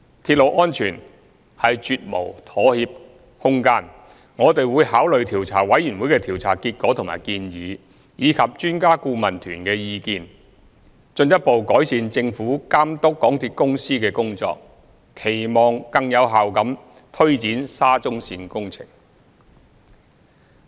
鐵路安全是絕無妥協空間，我們會考慮調查委員會的調查結果和建議，以及專家顧問團的意見，進一步改善政府監督港鐵公司的工作，期望更有效地推展沙中線工程。